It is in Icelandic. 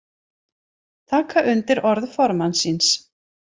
Taka undir orð formanns síns